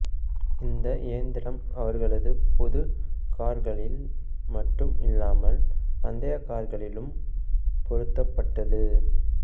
இந்த இயந்திரம் அவர்களது பொது கார்களில் மட்டும் இல்லாமல் பந்தய கார்களிலும் பொருத்தப்பட்டது